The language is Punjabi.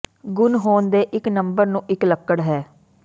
ਗੁਣ ਹੋਣ ਦੇ ਇੱਕ ਨੰਬਰ ਨੂੰ ਇੱਕ ਲੱਕੜ ਹੈ